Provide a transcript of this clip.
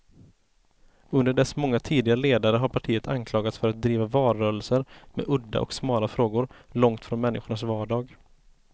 Under dess många tidigare ledare har partiet anklagats för att driva valrörelser med udda och smala frågor, långt från människors vardag.